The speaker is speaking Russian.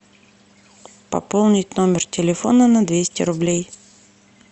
пополнить номер телефона на двести рублей